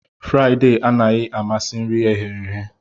Friday anaghị amasị nri eghe